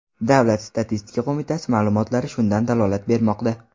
Davlat statistika qo‘mitasi ma’lumotlari shundan dalolat bermoqda .